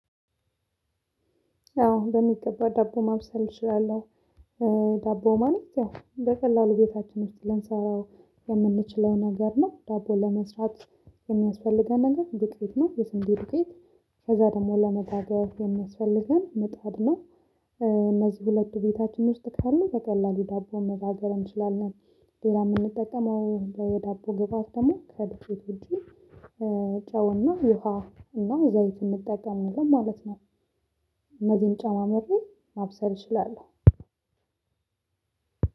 አዎ በሚገባ ዳቦ ማብሰል እችላለሁ። ዳቦ ማለት ያው እንደ ቀላሉ ቤታችን ልንሰራው የምንችለው ነገር ነው ዳቦ ለመስራት የሚያስፈልገን ነገር ዱቄት ነው። የስንት ዱቄት ከዛ ደግሞ ለመጋገር የምትፈልገን ምጣድ ነው። እነዚህ ሁለቱ ቤታችን ውስጥ ካሉ በቀላሉ ዳቦ መባገር እንችላለን። ሌላ የምንጠቀመው ዳቦ ግባት ደግሞ ከዱቄት ውጪ። ጨውና የውሃ እና ዘይት የምትጠቀምን ማለት ነው። እነዚህን ጨማምሬ ማብሰል ይችላል።